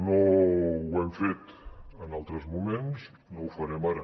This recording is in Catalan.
no ho hem fet en altres moments no ho farem ara